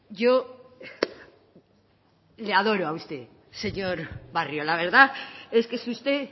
yo le adoro a usted señor barrio la verdad es que es usted